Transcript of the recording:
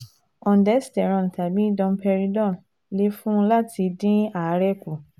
Ondensetrone tàbí domperidone lè fún un láti dín àárẹ̀ kù